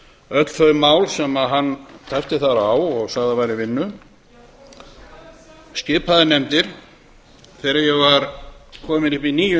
öll þau mál sem hann tæpti þar á og sagði að væru í vinnu hann talaði um nefndir og ég taldi þegar ég var kominn upp í níu